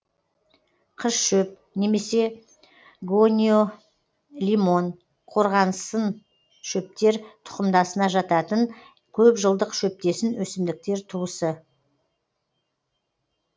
қызшөп немесе гониолимон қорғасыншөптер тұқымдасына жататын көп жылдық шөптесін өсімдіктер туысы